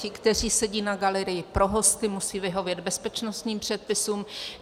Ti, kteří sedí na galerii pro hosty, musí vyhovět bezpečnostním předpisům.